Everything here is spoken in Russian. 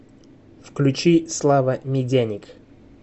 включи слава медяник